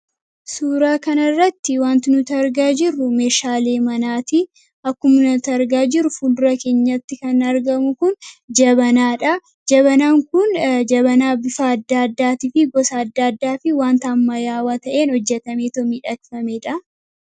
Suuraa kanarratti wanti nuti arginaa jirru meeshaalee manaati. Akkuma argaa jirru fuuldura keenyatti kan argamu kun jabanaadha. Jabanaaan kun jabanaa bifa adda addaa fi gosa adda addaa fi wanta ammayyaawaan ta'een hojjatamee miidhagfamedha.